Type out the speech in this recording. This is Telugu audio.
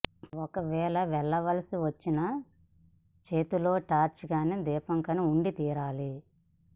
ఒకవేళ వెళ్ళవలసి వచ్చినా చేతిలో టార్చ్ కానీ దీపం కాని ఉండి తీరాలి